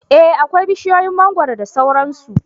Eh akwai bishiyoyin mangwaro da sauran su